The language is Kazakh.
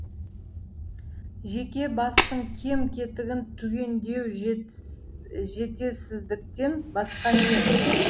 жеке бастың кем кетігін түгендеу жетесіздіктен басқа не